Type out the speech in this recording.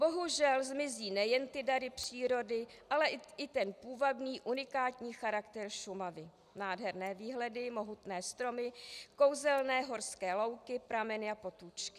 Bohužel zmizí nejen ty dary přírody, ale i ten půvabný unikátní charakter Šumavy, nádherné výhledy, mohutné stromy, kouzelné horské louky, prameny a potůčky.